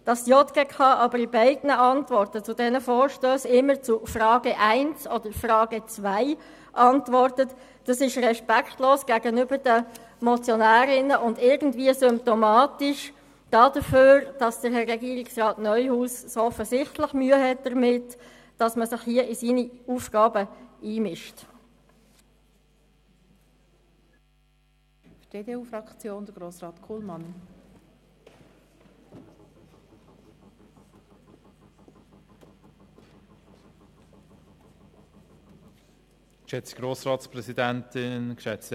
Dass die JGK aber in beiden Antworten zu diesen Vorstössen immer zu Frage 1 oder Frage 2 antwortet, ist respektlos gegenüber den Motionärinnen und irgendwie symptomatisch dafür, dass Herr Regierungsrat Neuhaus offensichtlich Mühe damit hat, dass man sich hier in seine Aufgaben einmischt.